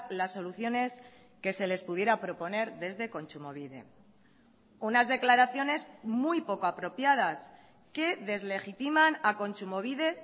las soluciones que se les pudiera proponer desde kontsumobide unas declaraciones muy poco apropiadas que deslegitiman a kontsumobide